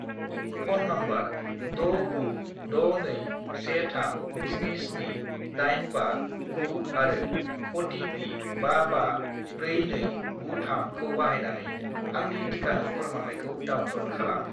Phone number 69621377859 आरो OTP. 554293 खौ बाहायनानै आंनि टिकानि फोरमानलाइखौ डाउनल'ड खालाम।